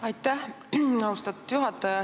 Aitäh, austatud juhataja!